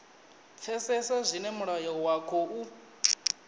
pfesesa zwine mulayo wa khou